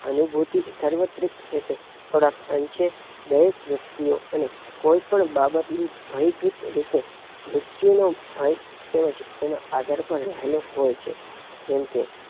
અનુભૂતિ સાર્વત્રિક રીતે થોડાક અંશે વ્ય્વ્સ વ્યક્તિઓ અને કોઈ પણ બાબતની ભય ભીંત રીતે મૃત્યુનો ભય તોજ તેના અગળ પર રહેલો હોય છે. જેમકે